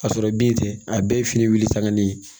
Ka sɔrɔ bin tɛ a bɛɛ ye fini wuli sanga ne ye